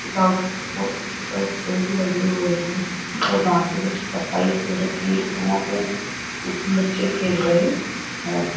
चारों तरफ बहोत अच्छे प पेड़ भी लगे हुए हैं और घासे भी सफाई से हो रखी है और वहां पे बच्चे खेल रहे हैं।